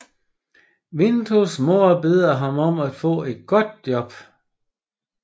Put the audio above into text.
Vitos mor beder ham om at få et godt job